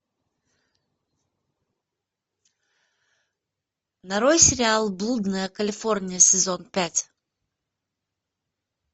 нарой сериал блудная калифорния сезон пять